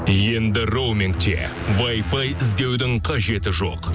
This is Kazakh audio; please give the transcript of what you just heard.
енді роумингте вайфай іздеудің қажеті жоқ